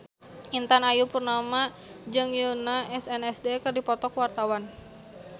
Intan Ayu Purnama jeung Yoona SNSD keur dipoto ku wartawan